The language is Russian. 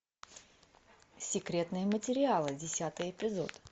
секретные материалы десятый эпизод